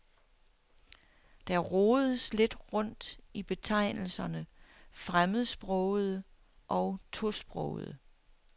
Der rodes lidt rundt i betegnelserne fremmedsprogede og tosprogede.